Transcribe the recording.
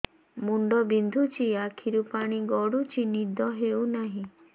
ମୁଣ୍ଡ ବିନ୍ଧୁଛି ଆଖିରୁ ପାଣି ଗଡୁଛି ନିଦ ହେଉନାହିଁ